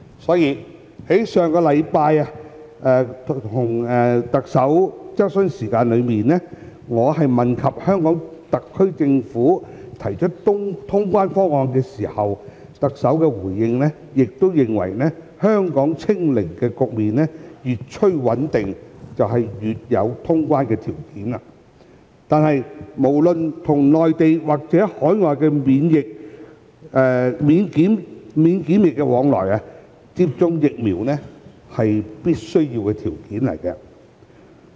因此，在上星期的行政長官質詢時間，我問及香港特區政府提出通關方案時，特首的回應亦認為，香港"清零"局面越趨穩定便越有條件通關，但不論是與內地或與海外的免檢疫往來，接種疫苗是必要條件。